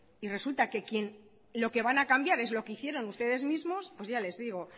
y resulta que lo que van a cambiar es lo que hicieron ustedes mismos pues ya les digo